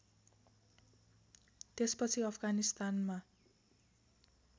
त्यसपछि अफगानिस्तानमा